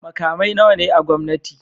Makamai nawa ne na gwamnati?